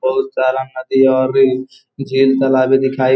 बहुत सारा नदी और रेलिंग झील तालाबे दिखाई --